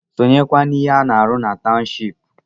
Sonyekwa n’ihe a na-arụ na tawụshipu!